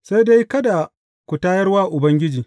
Sai dai kada ku tayar wa Ubangiji.